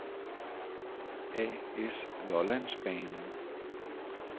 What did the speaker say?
A/S Lollandsbanen